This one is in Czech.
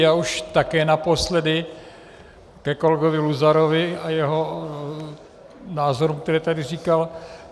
Já už také naposledy ke kolegovi Luzarovi a jeho názorům, které tady říkal.